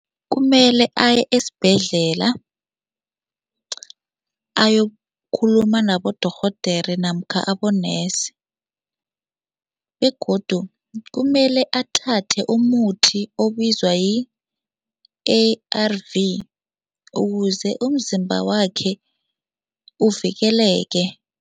Kumele aye esibhedlela ayokukhuluma nabodorhodere namkha abonesi begodu kumele athathe umuthi obizwa yi-A_R_V ukuze umzimba wakhe uvikeleke.